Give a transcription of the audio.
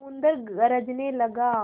समुद्र गरजने लगा